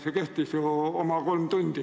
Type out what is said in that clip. See kestis ju oma kolm tundi.